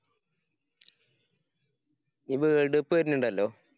world cup വരുന്നുണ്ടല്ലോ?